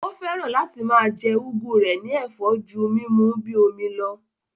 Ó fẹ́ràn láti máa jẹ́ úgú rẹ̀ ní ẹ̀fọ́ ju múmu ú bíi omi lọ